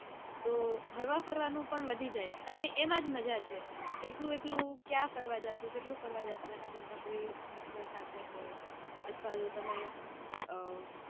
તો હળવા ફરવાનું પણ વધી જાય. અને એમાં જ મજા છે. એકલું એકલું ક્યાં ફરવા જાસુ કેટલું ફરવા જાસુ એના કરતા કોઈ મિત્ર સાથે હોય અથવા તો તમે અઅ